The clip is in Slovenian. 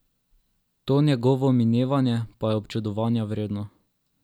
To njegovo minevanje pa je občudovanja vredno.